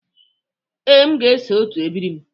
Ee, aga m eso otu ebiri m.